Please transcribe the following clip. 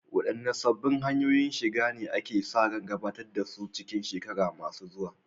Waɗanne sabbin hanyoyin shiga ne ake sa ran gabatar da su a cikin shekaru masu zuwa?